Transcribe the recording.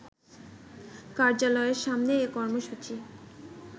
কার্যালয়ের সামনে এ কর্মসূচি